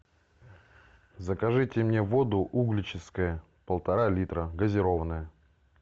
закажите мне воду угличская полтора литра газированная